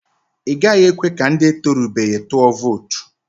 I gaghị ekwe ka ndị etorubeghi tụọ vootu.